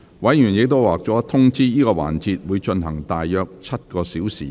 委員已獲通知，這個環節會進行約7小時。